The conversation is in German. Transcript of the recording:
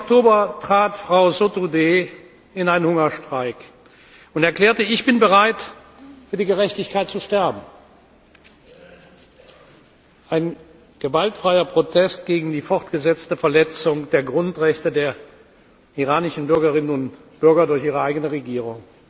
Am 17. Oktober 2012 trat Frau Sotoudeh in einen Hungerstreik und erklärte Ich bin bereit, für die Gerechtigkeit zu sterben ein gewaltfreier Protest gegen die fortgesetzte Verletzung der Grundrechte der iranischen Bürgerinnen und Bürger durch ihre eigene Regierung.